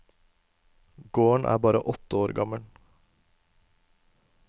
Gården er bare åtte år gammel.